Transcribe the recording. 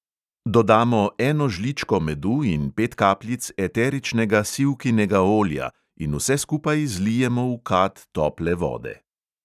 Dodamo eno žličko medu in pet kapljic eteričnega sivkinega olja in vse skupaj zlijemo v kad tople vode.